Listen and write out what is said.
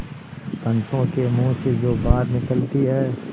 पंचों के मुँह से जो बात निकलती है